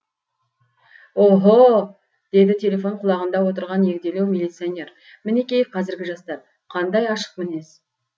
оһо деді телефон құлағында отырған егделеу милиционер мінеки қазіргі жастар қандай ашық мінез